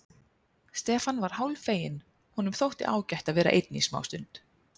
Stefán var hálffeginn, honum þótti ágætt að vera einn í smástund.